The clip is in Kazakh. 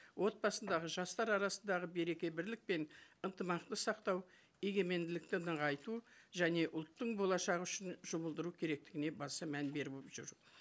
отбасындағы жастар арасындағы береке бірлік пен ынтымақты сақтау егеменділікті нығайту және ұлттың болашағы үшін жұмылдыру керектігіне баса мән беріп жүр